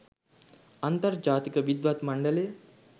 අන්තර්ජාතික විද්වත් මණ්ඩලය?